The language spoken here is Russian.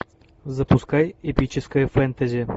запускай эпическое фэнтези